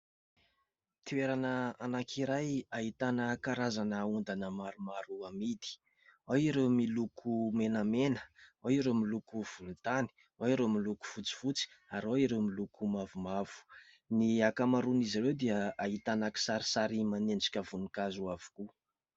Toerana anankiray ahitana karazana ondana maromaro amidy. Ao ireo miloko menamena, ao ireo miloko volontany, ao ireo miloko fotsifotsy, ary ao ireo miloko mavomavo. Ny ankamaroan'izy ireo dia ahitana kisarisary manendrika voninkazo avokoa.